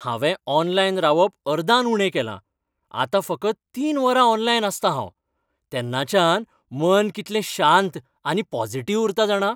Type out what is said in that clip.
हांवें ऑनलायन रावप अर्दान उणें केलां, आतां फकत तीन वरां ऑनलायन आसतां हांव, तेन्नाच्यान मन कितलें शांत आनी पॉजिटिव्ह उरता जाणा.